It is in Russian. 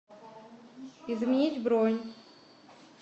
изменить бронь